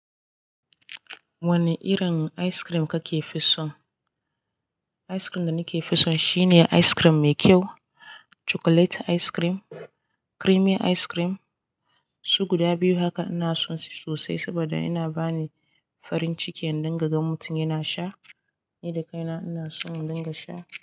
Wani irin ice cream kake fi so? Ice cream dana ke fi son shine ice cream mai kyau, chocolate ice cream, creamy ice cream. Su guda biyu haka ina son su sosai saboda yana bani farin ciki in dinga gan mutum yana sha. Ni da kaina ina son dinga sha.